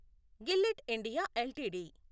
Gillette India LTD